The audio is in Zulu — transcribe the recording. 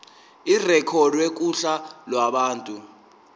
irekhodwe kuhla lwabantu